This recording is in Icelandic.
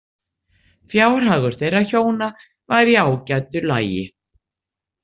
Fjárhagur þeirra hjóna var í ágætu lagi.